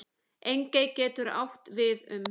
Engey getur átt við um